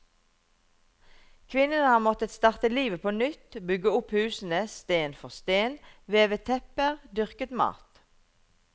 Kvinnene har måttet starte livet på nytt, bygge opp husene sten for sten, veve tepper, dyrke mat.